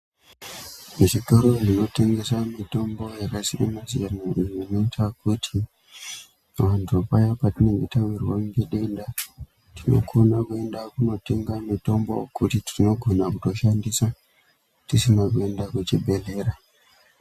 Muzvitoro zvinotengesa mitombo yakasiyana siyana inoita kuti vantu paye patinenge tawirwa ngedenda tinokona kuenda kunotenga mitombo kuti tinogona kutoshandisa tisina kuenda kuchibhedhlera.